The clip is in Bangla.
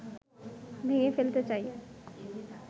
ভেঙে ফেলতে চায়